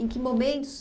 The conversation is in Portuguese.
Em que momentos?